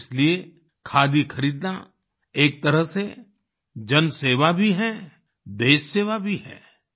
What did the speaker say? इसलिए खादी खरीदना एक तरह से जनसेवा भी है देशसेवा भी है